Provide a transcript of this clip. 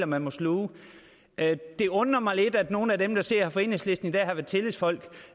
man må sluge det undrer mig lidt at nogle af dem der sidder her fra enhedslisten i dag har været tillidsfolk